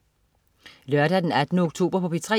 Lørdag den 18. oktober - P3: